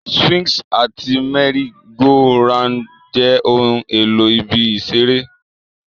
Swings àti merry-go-rounds jẹ́ ohun èlò ibi ìṣeré.